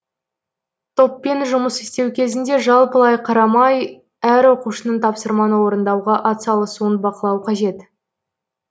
топпен жұмыс істеу кезінде жалпылай қарамай әр оқушының тапсырманы орындауға атсалысуын бақылау қажет